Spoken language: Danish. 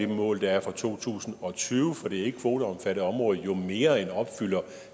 mål der er for to tusind og tyve for det ikkekvoteomfattede område jo mere end opfylder